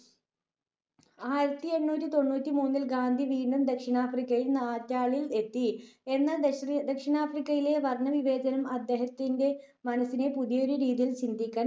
ആയിരത്തി എണ്ണൂറ്റി തൊണ്ണൂറ്റി മൂന്നിൽ ഗാന്ധി വീണ്ടുംദക്ഷിണാഫ്രിക്കയിൽ നാറ്റാളിൽ എത്തി. എന്നാൽ ദക്ഷിണാഫ്രിക്കയിലെ വർണ്ണവിവേചനം അദ്ദേഹത്തിന്റെ മനസ്സിനെ പുതിയൊരു രീതിയിൽ ചിന്തിക്കാൻ പ്രേരിപ്പിച്ചു.